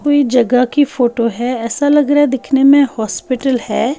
कोई जगह की फोटो है ऐसा लग रहा है दिखने में हॉस्पिटल है।